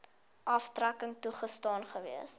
aftrekking toegestaan gewees